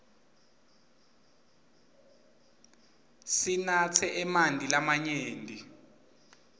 sinatse emanti lamanyenti